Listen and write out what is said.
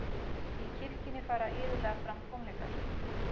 í kirkjunni fara iðulega fram tónleikar